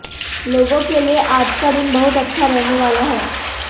लोगों के लिए आज का दिन बहुत अच्छा रहने वाला है